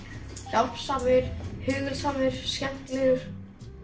hjálpsamur hugulsamur skemmtilegur